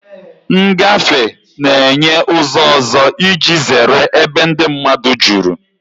Ngafe na-enye ụzọ ọzọ iji zere ebe ndị mmadụ juru.